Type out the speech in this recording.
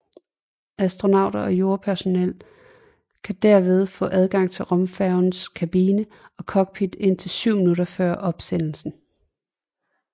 Astronauter og jordpersonel kan derved få adgang til rumfærgens kabine og cockpit indtil 7 minutter før opsendelsen